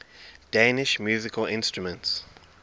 danish musical instruments